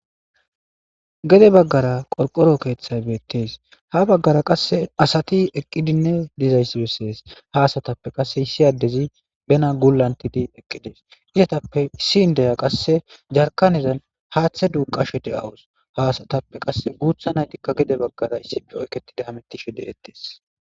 Gede baggara qorqoro keeththay beettees ha baggara qasse asati eqqidinne dizayssurussees ha asatappe qasse issiyaddezi bena gulantidi eqqides izatappe issin deya qasse jarkanezan haaththe duuqashe de7awus ha asatappe qasse guutha naytikka gede baggara issipe oyketida hamettishe deettees.